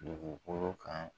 Dugukolo kan